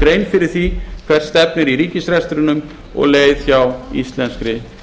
grein fyrir því hvert stefnir í ríkisrekstrinum og um leið hjá íslenskri